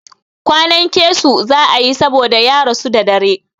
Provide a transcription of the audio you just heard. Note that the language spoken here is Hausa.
Kwanan keso za a yi saboda ya rasu da dare.